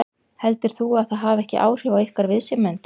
Heldur þú að það hafi ekki áhrif á ykkar viðsemjendur?